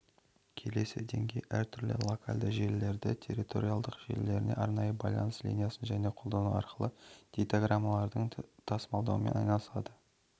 келесі деңгей әр түрлі локальді желілерді территориалдық желілерін арнайы байланыс линиясын және қолдану арқылы дейтаграммаларды тасымалдаумен айналысатын